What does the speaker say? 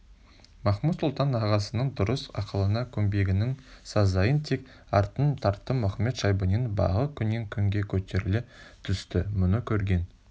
махмуд-сұлтан ағасының дұрыс ақылына көнбегенінің сазайын тек артынан тартты мұхамед-шайбанидың бағы күннен-күнге көтеріле түсті мұны көрген